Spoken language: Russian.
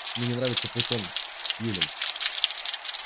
мне не нравится твой тон сьюлин